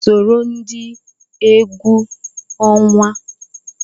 Soro ndị egwu ọnwa!